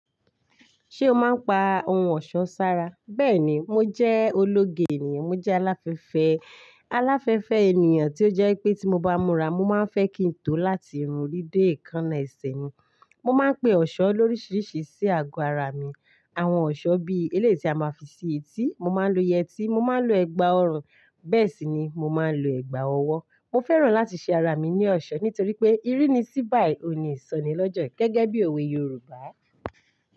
Ṣé o máa ń pa ohun ọ̀ṣọ́ sára? Bẹ́ẹ̀ni, mo jẹ́ ológe ènìyàn, mo jẹ́ aláfẹ́fẹ́, aláfẹ́fẹ́ ènìyàn tí ó jẹ́ pé tí mo bá múra, mo máa ń fẹ́ kí n tó láti irun rí dé ẹ̀kan ẹsẹ̀ mi. Mo máa ń pe eṣọ́ lóríṣiríṣi sí ago ara mi. Àwọn eṣọ́ bí elé tí a máa fi ṣe etí, mo máa ń lo yẹtí, mo máa ń lo ẹ̀gbà ọrùn, bẹ́ẹ̀ sì ni mo máa ń lo ẹ̀gbà ọwọ́. Mo fẹ́ràn láti ṣe ara mi ní eṣọ́ nítorí pé ìrínisí bá ìpàníṣàn ni lọ́jọ́ gẹ́gẹ́bí òwe Yorùbá.